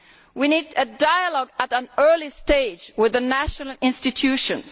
We need dialogue at an early stage with the national institutions.